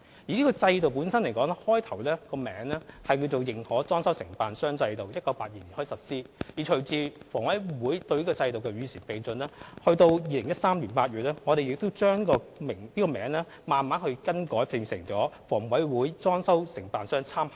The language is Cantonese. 這個制度原本的名字是認可裝修承辦商制度，由1982年開始實施，而隨着房委會對制度作出與時並進的改善，到2013年8月，我們把名字更改為裝修承辦商參考名單。